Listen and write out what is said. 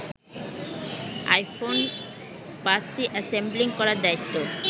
iPhone ৫সি assembling করার দায়িত্ব